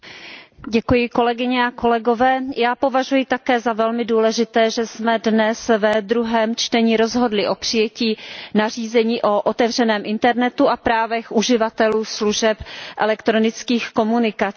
Paní předsedající, já považuji také za velmi důležité, že jsme dnes ve druhém čtení rozhodli o přijetí nařízení o otevřeném internetu a právech uživatelů služeb elektronických komunikací.